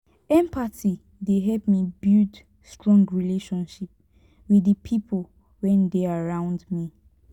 empathy dey help me build strong relationship wit di pipo wey dey around me.